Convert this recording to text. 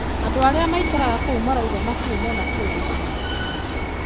Andũ arĩa maikaraga kũu marauga matĩrĩ mona kĩũndu ta gĩkĩ